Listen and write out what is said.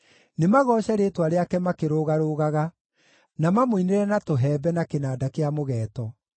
Nĩmagooce rĩĩtwa rĩake makĩrũgarũgaga, na mamũinĩre na tũhembe, na kĩnanda kĩa mũgeeto.